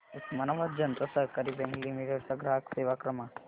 उस्मानाबाद जनता सहकारी bank limited चा ग्राहक सेवा क्रमांक